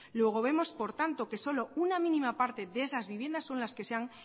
luego vemos por tanto que solo una mínima parte de esas viviendas son las que se han